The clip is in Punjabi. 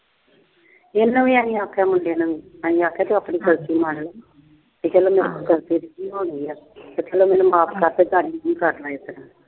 ਇਹਨੂੰ ਵੀ ਆਈ ਆਖਿਆ ਮੁੰਡੇ ਨੂੰ ਵੀ ਤੂੰ ਆਪਣੀ ਗਲਤੀ ਮੰਗ ਲੈ। ਤੇ ਕਹਿੰਦਾ ਮੈਂ ਕੋਈ ਗਲਤੀ ਕੀਤੀ ਆ ਤੇ ਮੈਨੂੰ ਮਾਫ ਕਰਦੇ ਤੇ